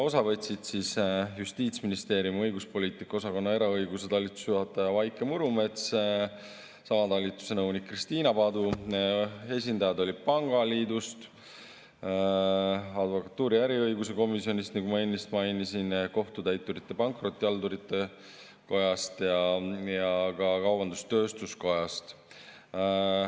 Osa võtsid siis Justiitsministeeriumi õiguspoliitika osakonna eraõiguse talituse juhataja Vaike Murumets, sama talituse nõunik Kristiina Padu, esindajad olid pangaliidust, advokatuuri äriõiguse komisjonist, nagu ma ennist mainisin, Kohtutäiturite ja Pankrotihaldurite Kojast ning ka kaubandus-tööstuskojast.